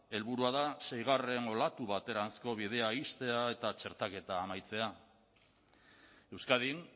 helburua da seigarren olatu bateranzko bidea ixtea eta txertaketa amaitzea euskadin